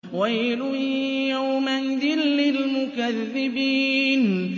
وَيْلٌ يَوْمَئِذٍ لِّلْمُكَذِّبِينَ